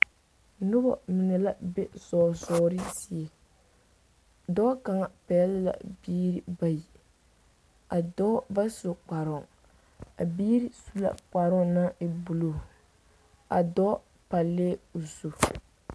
Noba mine la be zɔɔ zɔɔre zie dɔɔ kaŋa pɛgle la biiri bayi a dɔɔ ba su kparoŋ a biiri su la kparoŋ naŋ e bulu a dɔɔ palɛɛo zu.